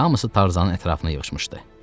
Hamısı Tarzanın ətrafına yığışmışdı.